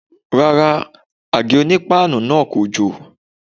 Rárá, àgé-onípáànù náà kò jò.